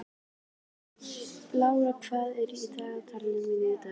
Lara, hvað er í dagatalinu í dag?